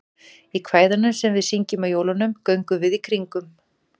Í kvæðinu sem við syngjum á jólunum, Göngum við í kringum.